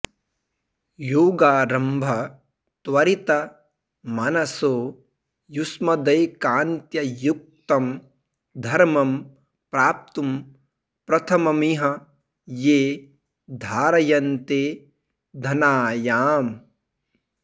योगारम्भ त्वरित मनसो युष्मदैकान्त्य युक्तं धर्मं प्राप्तुं प्रथममिह ये धारयन्ते धनायाम्